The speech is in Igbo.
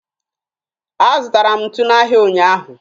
Azụtara m ntu n'ahịa ụnyaahụ